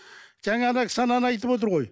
жаңа кісі ананы айтып отыр ғой